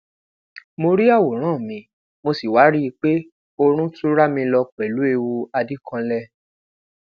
mo ri aworan mi mo si wa rii pe oorun tun rami lọ pẹlu ewu adikanlẹ